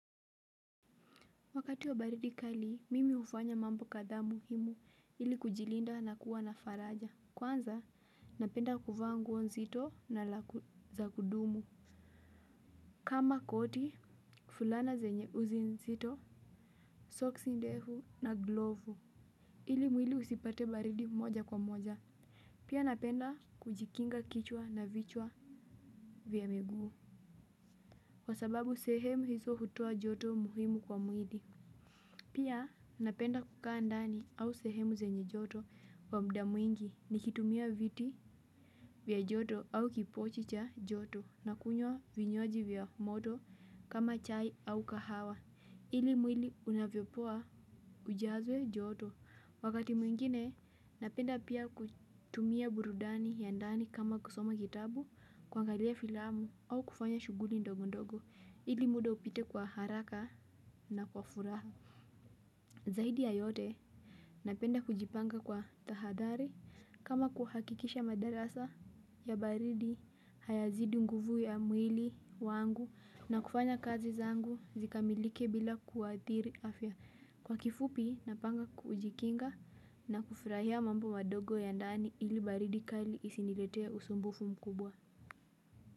Wakati wa baridi kali, mimi hufanya mambo kadhaa muhimu ili kujilinda na kuwa na faraja. Kwanza, napenda kuvaa nguo nzito na laku za kudumu. Kama koti, fulana zenye uzi nzito, soksi ndefu na glovu. Ili mwili usipate baridi moja kwa moja. Pia napenda kujikinga kichwa na vichwa vya miguu. Kwa sababu sehemu hizo hutoa joto muhimu kwa mwili. Pia napenda kukaa ndani au sehemu zenye joto wa muda mwingi nikitumia viti vya joto au kipochi cha joto na kunywa vinywaji vya moto kama chai au kahawa ili mwili unavyopoa ujazwe joto. Wakati mwingine napenda pia kutumia burudani ya ndani kama kusoma kitabu kuangalia filamu au kufanya shughuli ndogo ndogo ili muda upite kwa haraka na kwa furaha. Zaidi ya yote napenda kujipanga kwa tahadhari kama kuhakikisha madarasa ya baridi hayazidi nguvu ya mwili wangu na kufanya kazi zangu zikamilike bila kuathiri afya. Kwa kifupi napanga kujikinga na kufurahia mambo madogo ya ndani ili baridi kali isiniletea usumbufu mkubwa.